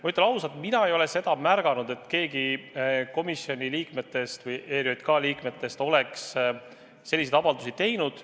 Ma ütlen ausalt, et mina ei ole seda märganud, et keegi ERJK liikmetest oleks selliseid avaldusi teinud.